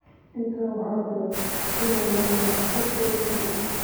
Intaa waxaa dheer, in maqaalka Sve P.